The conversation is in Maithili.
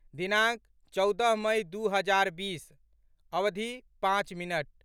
दिनाङ्क, चौदह मइ दू हजार बीस, अवधि, पाँच मिनट